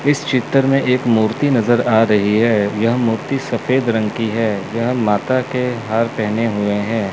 इस चित्र में एक मूर्ति नजर आ रही है यह मूर्ति सफेद रंग की है यह माता के हार पहने हुए हैं।